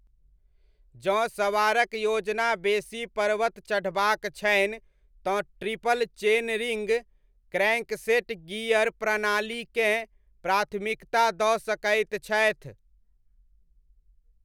जँ सवारक योजना बेसी पर्वत चढ़बाक छनि तँ triple chain ring crankset gear प्रणालीकेँ प्राथमिकता दऽ सकैत छथि।